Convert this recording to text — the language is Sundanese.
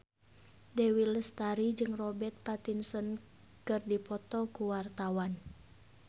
Dewi Lestari jeung Robert Pattinson keur dipoto ku wartawan